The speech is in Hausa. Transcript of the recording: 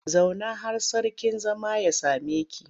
Zauna har sarkin zama ya same ki!